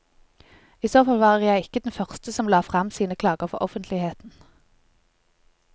I så fall var jeg ikke den første som la frem sine klager for offentligheten.